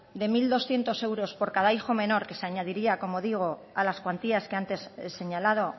de mil doscientos euros por cada hijo menor que se añadiría como digo a las cuantías que antes he señalado